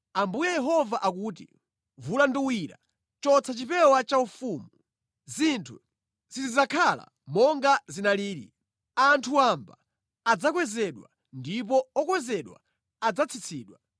Ambuye Yehova akuti: Vula nduwira, chotsa chipewa chaufumu. Zinthu sizidzakhala monga zinalili: anthu wamba adzakwezedwa ndipo okwezedwa adzatsitsidwa.